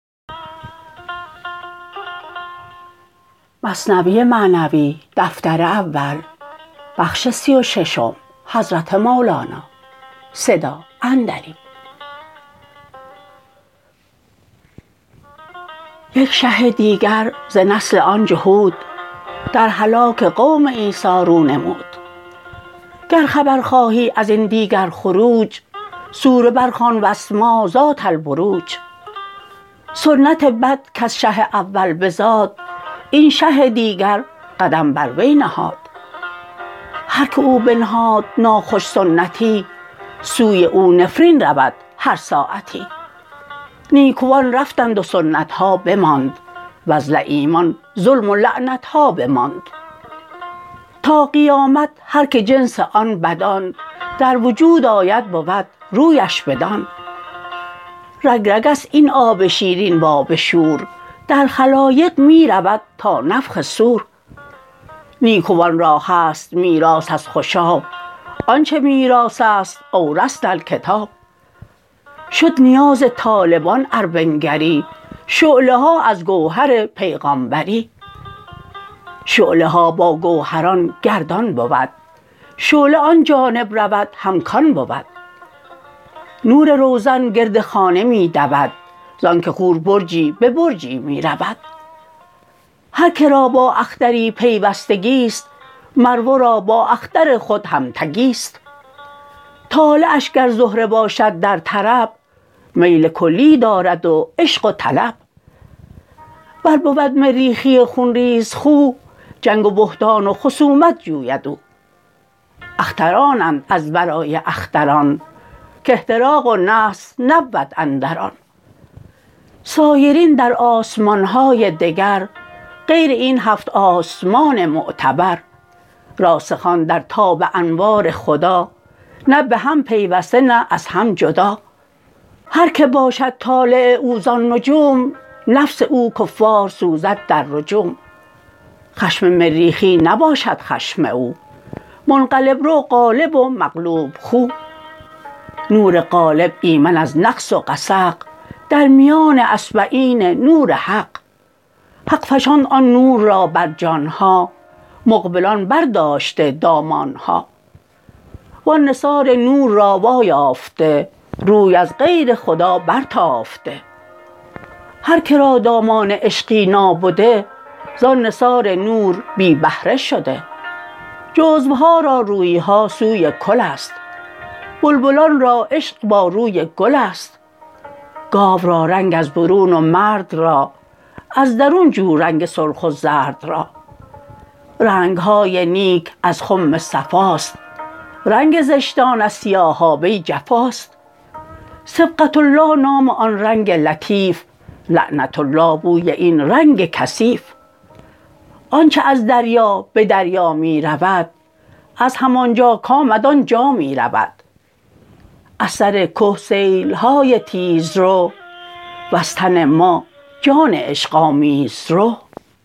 یک شه دیگر ز نسل آن جهود در هلاک قوم عیسی رو نمود گر خبر خواهی ازین دیگر خروج سوره بر خوان وٱلسمآء ذات ٱلۡبروج سنت بد کز شه اول بزاد این شه دیگر قدم بر وی نهاد هر که او بنهاد ناخوش سنتی سوی او نفرین رود هر ساعتی نیکوان رفتند و سنت ها بماند وز لییمان ظلم و لعنت ها بماند تا قیامت هرکه جنس آن بدان در وجود آید بود رویش بدان رگ رگست این آب شیرین و آب شور در خلایق می رود تا نفخ صور نیکوان را هست میراث از خوشاب آن چه میراث است أوۡرثۡنا ٱلۡکتٰب شد نیاز طالبان ار بنگری شعله ها از گوهر پیغامبری شعله ها با گوهران گردان بود شعله آن جانب رود هم کان بود نور روزن گرد خانه می دود زانک خور برجی به برجی می رود هر که را با اختری پیوستگی ست مر ورا با اختر خود هم تگی ست طالعش گر زهره باشد در طرب میل کلی دارد و عشق و طلب ور بود مریخی خون ریزخو جنگ و بهتان و خصومت جوید او اخترانند از ورای اختران که احتراق و نحس نبود اندر آن سایران در آسمان های دگر غیر این هفت آسمان معتبر راسخان در تاب انوار خدا نه به هم پیوسته نه از هم جدا هر که باشد طالع او زان نجوم نفس او کفار سوزد در رجوم خشم مریخی نباشد خشم او منقلب رو غالب و مغلوب خو نور غالب ایمن از نقص و غسق در میان اصبعین نور حق حق فشاند آن نور را بر جان ها مقبلان بر داشته دامان ها و آن نثار نور را وا یافته روی از غیر خدا برتافته هر که را دامان عشقی نابده زان نثار نور بی بهره شده جزوها را رویها سوی کل است بلبلان را عشق با روی گل است گاو را رنگ از برون و مرد را از درون جو رنگ سرخ و زرد را رنگ های نیک از خم صفاست رنگ زشتان از سیاهابه جفاست صبغة الله نام آن رنگ لطیف لعنة الله بوی این رنگ کثیف آنچ از دریا به دریا می رود از همانجا کامد آنجا می رود از سر که سیل های تیزرو وز تن ما جان عشق آمیزرو